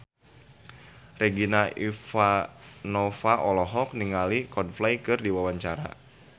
Regina Ivanova olohok ningali Coldplay keur diwawancara